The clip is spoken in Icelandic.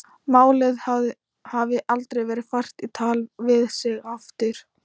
Málið hafi aldrei verið fært í tal við sig aftur.